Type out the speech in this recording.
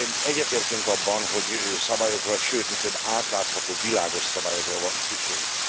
Egyetértünk abban, hogy szabályokra, sőt mi több, átlátható, világos szabályokra van szükségünk.